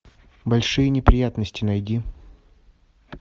большие неприятности найди